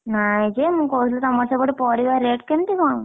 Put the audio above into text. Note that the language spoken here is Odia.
ନାଇଁ ଯେ ମୁଁ କହୁଥିଲି ତମର ସେପଟେ ପରିବା rate କେମିତି କଣ?